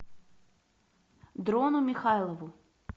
дрону михайлову